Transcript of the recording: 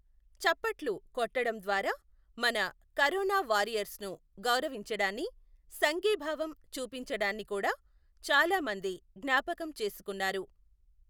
చప్పట్లు కొట్టడం ద్వారా మన కరోనా వారియర్స్ ను గౌరవించడాన్ని, సంఘీభావం చూపించడాన్ని కూడా చాలా మంది జ్ఞాపకం చేసుకున్నారు.